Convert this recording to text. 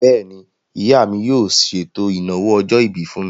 Bẹ́ẹ̀ni, ìyá mi yóò ṣètò ìnáwó ọjọ́-ìbí fún mi